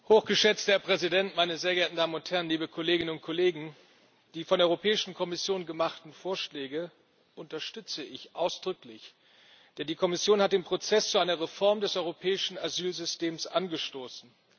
Hochgeschätzter Herr Präsident, meine sehr geehrten Damen und Herren, liebe Kolleginnen und Kollegen! Die von der Europäischen Kommission gemachten Vorschläge unterstütze ich ausdrücklich, denn die Kommission hat den Prozess zu einer Reform des Europäischen Asylsystems angestoßen.